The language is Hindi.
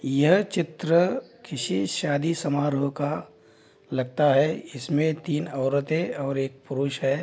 यह चित्र किसी शादी समारोह का लगता है इसमें तीन औरतें और एक पुरुष है।